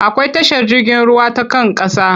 Akwai tashar jirgin ruwa ta kan ƙasa.